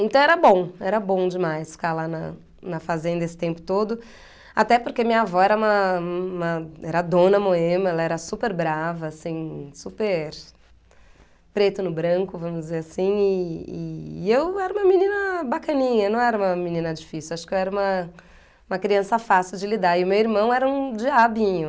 Então era bom, era bom demais ficar lá na na fazenda esse tempo todo, até porque minha avó uma uma era dona moema, ela era super brava, assim, super preto no branco, vamos dizer assim, e e eu era uma menina bacaninha, não era uma menina difícil, acho que eu era uma uma criança fácil de lidar e meu irmão era um diabinho.